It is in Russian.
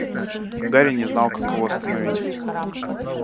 гарри не знал как его остановить